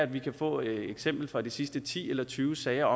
vi kan få eksempler fra de sidste ti eller tyve sager